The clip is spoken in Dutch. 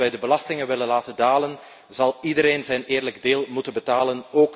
Als wij de belastingen willen laten dalen, zal iedereen zijn eerlijke deel moeten betalen.